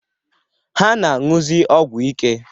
Ha na-aṅụzị ọgwụ ike.